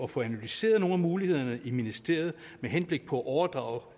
få analyseret mulighederne i ministeriet med henblik på at overdrage